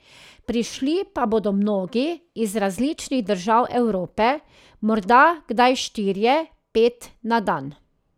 Prišli pa bodo mnogi iz različnih držav Evrope, morda kdaj štirje, pet na dan.